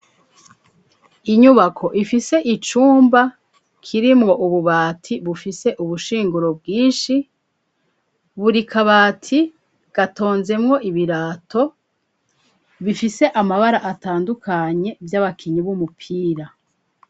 Inyubako ifise icumba kirimwo ububati bufise ubushinguro bwinshi, buri kabati gatonzemwo ibirato bifise amabara atandukanye vy,abakinyi b'umupira.